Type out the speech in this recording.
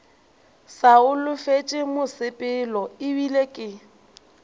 sa holofetše mosepelo ebile ke